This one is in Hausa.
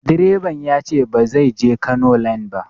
Direban ya ce ba zai je Kano line ba.